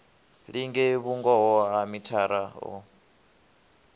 linge vhungoho ha mithara o